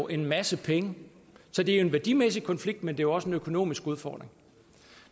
en masse penge så det er en værdimæssig konflikt men jo også en økonomisk udfordring